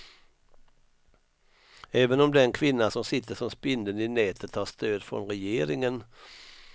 Även om den kvinna som sitter som spindeln i nätet har stöd från regeringen.